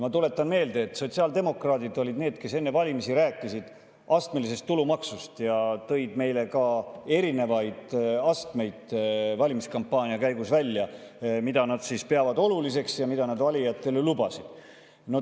Ma tuletan meelde, et sotsiaaldemokraadid olid need, kes enne valimisi rääkisid astmelisest tulumaksust ja tõid ka erinevaid astmeid valimiskampaania käigus välja, mida nad pidasid oluliseks ja mida nad valijatele lubasid.